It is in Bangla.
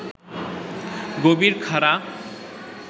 গভীর খাড়া